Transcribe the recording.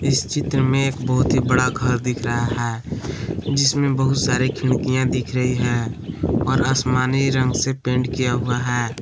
इस चित्र में एक बहुत ही बड़ा घर दिख रहा है जिसमें बहुत सारी खिड़कियां दिख रही हैं और आसमानी रंग से पेंट किया हुआ है।